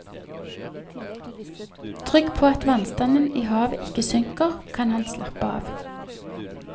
Trygg på at vannstanden i havet ikke synker, kan han slappe av.